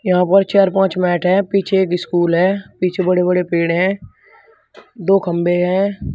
यहां पर चार पांच मैट है पीछे की स्कूल है पीछे बड़े बड़े पेड़ है दो खंबे हैं।